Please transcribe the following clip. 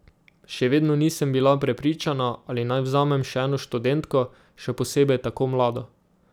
Še vedno nisem bila prepričana, ali naj vzamem še eno študentko, še posebej tako mlado.